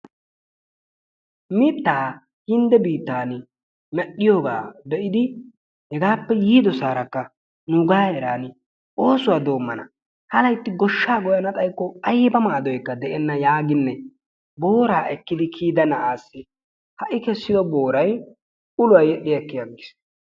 Mittaa hindde bittaan medhdhiyoogaa be'idi hegaappe yiidosarakka nugaa heeran oosuwaa doommana. Ha laytti gooshshaa gooyana xaykko ayba maadoykka deenna yaaginne booraa eekkidi kiyida na'aassi ha i kessiyoo booray uluwaa yel"i eqqi aggiis.